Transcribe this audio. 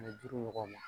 Ani duuru ɲɔgɔn ma